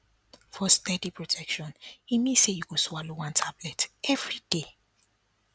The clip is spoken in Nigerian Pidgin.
for steady protection e mean say you go swallow one tablet everyday